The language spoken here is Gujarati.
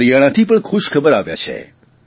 હરિયાણાથી પણ ખુશખબર આવ્યાં છે